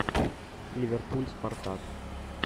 ливерпуль спартак